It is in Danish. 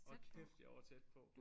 Hold kæft jeg var tæt på